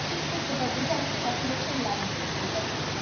ঠিক করতে পারব যে আপনার কত বছর লাগবে loan টা ফেরত দিতে